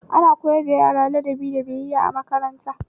Ana koyar da yara ladabi da biyayya a makaranta